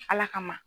Ala kama